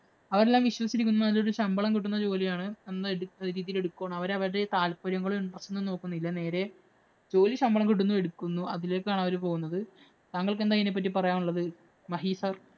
അവരെല്ലാം വിശ്വസിച്ചിരിക്കുന്നത് നല്ലൊരു ശമ്പളം കിട്ടുന്ന ജോലിയാണ്. എന്ന് ഉള്ള രീതിയില്‍ എടുക്കുകയാണ്. അവര് അവരുടെ താല്പര്യങ്ങളും, interest ഉം ഒന്നും നോക്കുന്നില്ല. നേരെ ജോലി ശമ്പളം കിട്ടുന്നു, എടുക്കുന്നു. അതിലേക്കാണ് അവര് പോകുന്നത്. താങ്കള്‍ക്കു അതിനെ പറ്റി എന്താണ് പറയാനുള്ളത് മഹി sir.